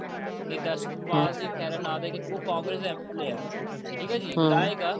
ਨੇਤਾ ਸੁਖਪਾਲ ਸਿੰਘ ਖੇਰਾ ਠੀਕ ਐ ਜੀ ਉਹ ਕਾੰਗ੍ਰੇਸ ਦਾ MLA ਆ ਠੀਕ ਆ ਜੀ